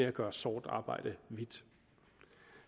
at gøre sort arbejde hvidt